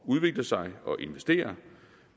udvikle sig og investere